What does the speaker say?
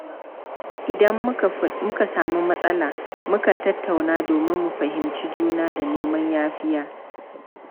Idan muka samu matsala, mu kan tattauna domin mu fahimci juna da neman yafiya.